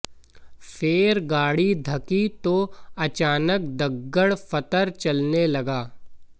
फेर गाड़ी धकी तो अचानचक दग्गड़ फत्तर चलने लगा